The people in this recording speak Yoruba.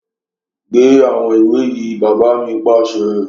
Gbé àwọn ìwé yìí! Bàbá mi pàṣẹ